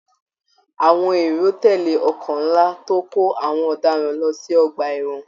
Àwọn èrò tẹle ọkọ nlá tó n kò àwọn ọdaràn lọ sí ọgbà ẹwọn.